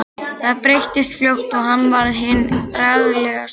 Það breyttist fljótt og hann varð hinn bragglegasti.